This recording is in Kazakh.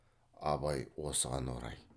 абай осыған орай